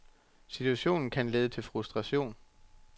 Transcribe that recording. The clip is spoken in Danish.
Situationen kan lede til frustration.